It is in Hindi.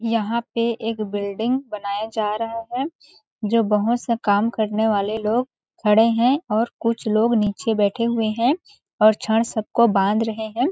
यहाँ पे एक बिल्डिंग बनाया जारहा है जो बहुत सा करने वाले लोग खड़े है और कुछ लोग निचे बैठे हुए है और छड़ सब को बांध रहे है।